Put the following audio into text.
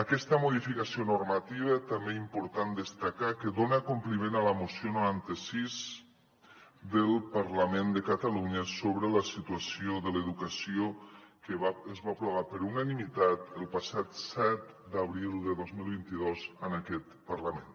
aquesta modificació normativa també important destacar que dona compliment a la moció noranta sis del parlament de catalunya sobre la situació de l’educació que es va aprovar per unanimitat el passat set d’abril de dos mil vint dos en aquest parlament